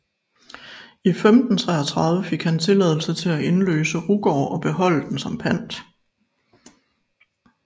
I 1533 fik han tilladelse til at indløse Rugård og beholde den som pant